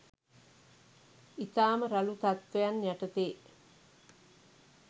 ඉතාම රළු තත්ත්වයන් යටතේ